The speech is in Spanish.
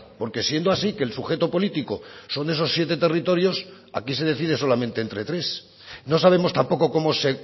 porque siendo así que el sujeto político son esos siete territorios aquí se decide solamente entre tres no sabemos tampoco cómo se